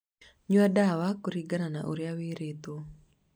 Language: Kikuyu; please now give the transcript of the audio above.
Nyua ndawa kũringana na ũrĩa wĩrĩtwo